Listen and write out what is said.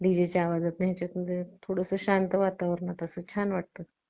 DJ च्या आवाजात ना थोडं असं शांत वातावरणात असं छान वाटतं